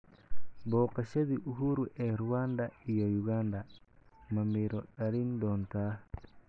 Booqashadii Uhuru ee Rwanda iyo Uganda ma midho dhalin doontaa?